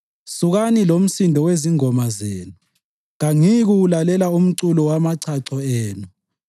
Sukani lomsindo wezingoma zenu! Kangiyikuwulalela umculo wamachacho enu.